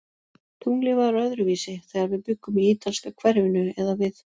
Tunglið var öðruvísi, þegar við bjuggum í ítalska hverfinu eða við